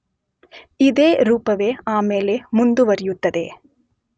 ಇದೇ ರೂಪವೇ ಆಮೇಲೆ ಮುಂದುವರಿಯುತ್ತದೆ.